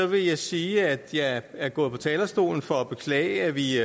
vil jeg sige at jeg er gået på talerstolen for at beklage at vi